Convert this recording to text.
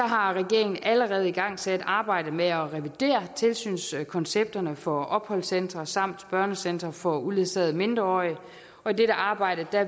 har regeringen allerede igangsat arbejdet med at revidere tilsynskoncepterne for opholdscentre samt børnecentre for uledsagede mindreårige og i dette arbejde